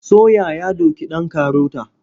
Soya ya doki ɗan karota.